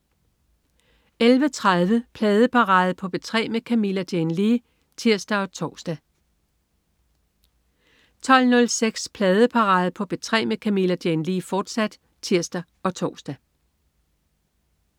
11.30 Pladeparade på P3 med Camilla Jane Lea (tirs og tors) 12.06 Pladeparade på P3 med Camilla Jane Lea, fortsat (tirs og tors)